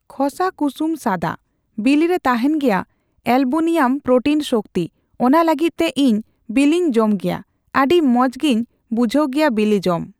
ᱠᱷᱚᱥᱟ ᱠᱩᱥᱩᱢ ᱥᱟᱫᱟ ᱾ᱵᱤᱞᱤᱨᱮ ᱛᱟᱦᱮᱱ ᱜᱮᱭᱟ ᱮᱞᱵᱩᱱᱤᱭᱟᱢ ᱯᱨᱚᱴᱤᱱ ᱥᱚᱠᱛᱤ ᱚᱱᱟ ᱞᱟᱹᱜᱤᱫ ᱛᱮ ᱤᱧ ᱵᱤᱞᱤᱧ ᱡᱚᱢᱜᱮᱭᱟ ᱟᱹᱰᱤ ᱢᱚᱪᱜᱮᱧ ᱵᱩᱡᱷᱟᱹᱣ ᱜᱮᱭᱟ ᱵᱤᱞᱤ ᱡᱚᱢ ᱾